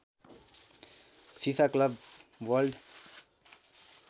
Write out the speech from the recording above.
FIFA club world